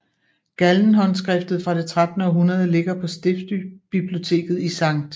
Gallen håndskriftet fra det 13 århundrede ligger på stiftsbiblioteket i Skt